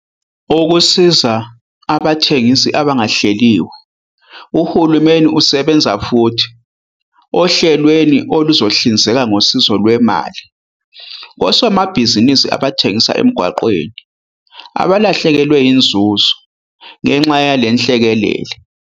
Ukusiza Abathengisi Abangahleliwe Uhulumeni usebenza futhi ohlelweni oluzohlinzeka ngosizo lwemali kosomabhizinisi abathengisa emgwaqeni abalahlekelwe inzuzo ngenxa yalenhlekelele.